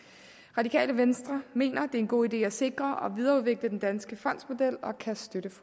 radikale venstre mener det er en god idé at sikre og videreudvikle den danske fondsmodel og kan støtte